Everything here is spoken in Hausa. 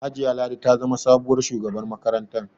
Hajiya Ladi ta zama sabuwar shugabar makarantar.